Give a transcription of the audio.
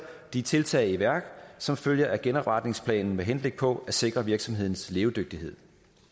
de tiltag i værk som følger af genopretningsplanen med henblik på at sikre virksomhedens levedygtighed